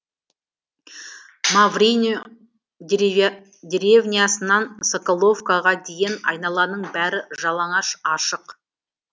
маврино деревнясынан соколовоға дейін айналаның бәрі жалаңаш ашық